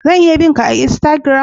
Zan iya bin'ka a'insagiram?